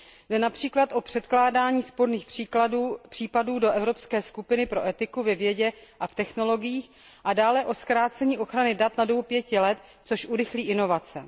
Jde například o předkládání sporných případů do evropské skupiny pro etiku ve vědě a v technologiích a dále o zkrácení ochrany dat na dobu 5 let, což urychlí inovace.